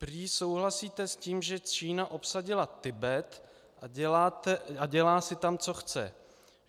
Prý souhlasíte s tím, že Čína obsadila Tibet a dělá si tam, co chce.